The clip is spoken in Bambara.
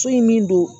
So in min don